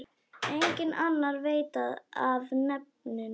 Enginn annar veit af nefinu.